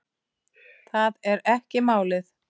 Það er ekki málið.